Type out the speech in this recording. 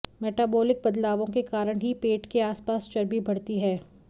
metabolic बदलावों के कारण ही पेट के आसपास चर्बी बढ़ती है